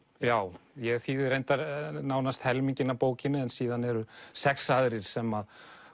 já ég þýði reyndar nánast helminginn af bókinni en síðan eru sex aðrir sem